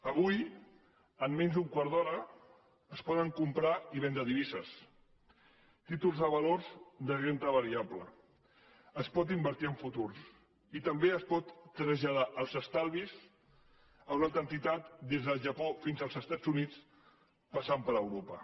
avui amb menys d’un quart d’hora es poden comprar i vendre divises títols de valors de renda variable es pot invertir en futurs i també es poden traslladar els estalvis a una altra entitat des del japó fins als estats units passant per europa